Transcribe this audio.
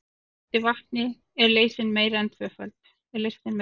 Í sjóðandi vatni er leysnin meira en tvöföld.